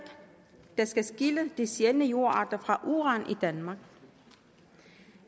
der skal skille de sjældne jordarter fra uran i danmark og